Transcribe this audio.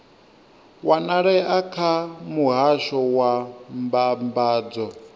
wanalea kha muhasho wa mbambadzo